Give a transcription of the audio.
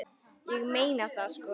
Ég meina það sko.